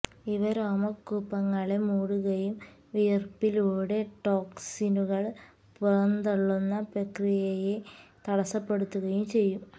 ഇവ രോമകൂപങ്ങളെ മൂടുകയും വിയര്പ്പിലുടെ ടോക്സിനുകള് പുറന്തള്ളുന്ന പ്രക്രിയയെ തടസപ്പെടുത്തുകയും ചെയ്യും